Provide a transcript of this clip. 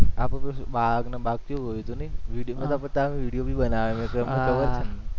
આખો કે શુ બાગ ને બાગ કેવુ હતો ને video ના બતાવે video ભી બનાવે ડબલ ડબલ